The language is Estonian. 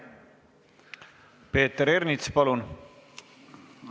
Peeter Ernits, palun!